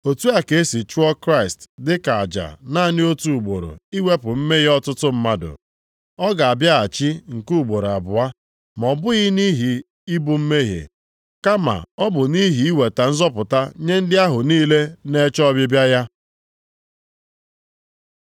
otu a ka e si chụọ Kraịst dị ka aja naanị otu ugboro iwepụ mmehie ọtụtụ mmadụ. Ọ ga-abịaghachi nke ugboro abụọ, ma ọ bụghị nʼihi ibu mmehie, kama ọ bụ nʼihi iweta nzọpụta nye ndị ahụ niile na-eche ọbịbịa ya.